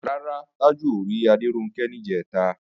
Rárá, Tájù ò rí Adéronkẹ́ níjẹ̀ta